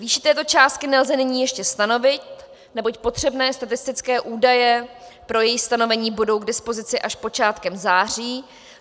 Výši této částky nelze nyní ještě stanovit, neboť potřebné statistické údaje pro její stanovení budou k dispozici až počátkem září.